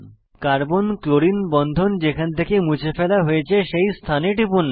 carbon chlorine বন্ধন যেখান থেকে মুছে ফেলা হয়েছে সেই স্থানে টিপুন